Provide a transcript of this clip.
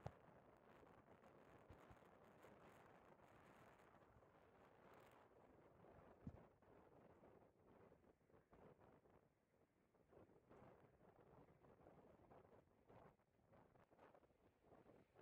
Issi geela'o na'iyaa ba shophphan karettanne adil'e ciishsha meraara de'iyaaba aybakkone tiyidaara ba naa"u kushiyaa pude zaarada eqqidaara lo"uwaan worawusu!